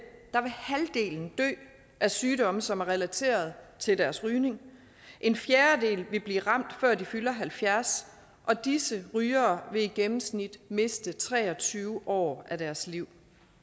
at sygdomme som er relateret til deres rygning en fjerdedel vil blive ramt før de fylder halvfjerds og disse rygere vil i gennemsnit miste tre og tyve år af deres liv